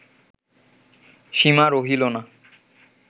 সীমা রহিল না